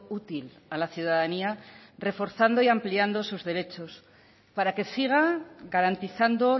útil a la ciudadanía reforzando y ampliando sus derechos para que siga garantizando